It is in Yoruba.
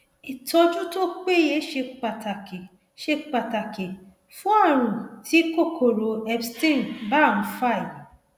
ìtọjú tó péye ṣe pàtàkì ṣe pàtàkì fún ààrùn tí kòkòrò epstein barr ń fà yìí